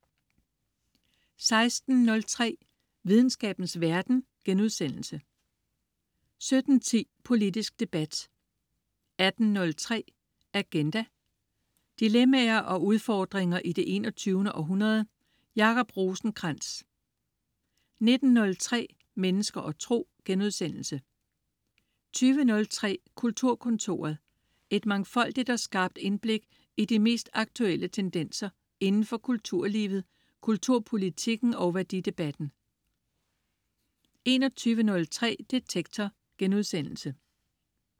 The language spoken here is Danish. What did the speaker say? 16.03 Videnskabens verden* 17.10 Politisk debat 18.03 Agenda. Dilemmaer og udfordringer i det 21. århundrede. Jacob Rosenkrands 19.03 Mennesker og tro* 20.03 Kulturkontoret. Et mangfoldigt og skarpt indblik i de mest aktuelle tendenser indenfor kulturlivet, kulturpolitikken og værdidebatten 21.03 Detektor*